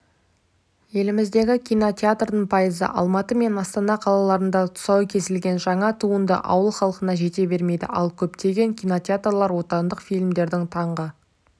еліміздегі кинотеатрдардың пайызы алматы мен астана қалаларында тұсауы кесілген жаңа туынды ауыл халқына жете бермейді ал көптеген кинотеарлар отандық фильмдерді таңғы